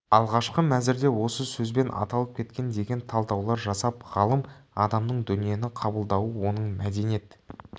алғашқы мәзірде осы сөзбен аталып кеткен деген талдаулар жасап ғалым адамның дүниені қабылдауы оның мәдениет